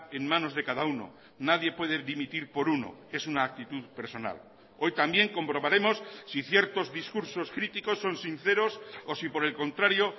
en manos de cada uno nadie puede dimitir por uno es una actitud personal hoy también comprobaremos si ciertos discursos críticos son sinceros o si por el contrario